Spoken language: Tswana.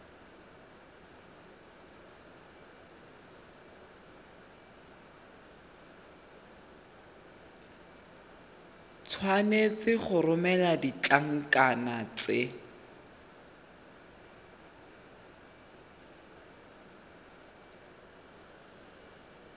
tshwanetse go romela ditlankana tse